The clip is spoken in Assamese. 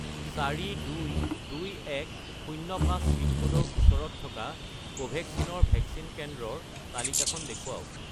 422105 পিনক'ডৰ ওচৰত থকা কোভেক্সিন ৰ ভেকচিন কেন্দ্ৰৰ তালিকাখন দেখুৱাওক